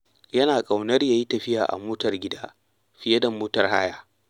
Yana ƙaunar ya yi tafiya a motar gida fiye da motar haya.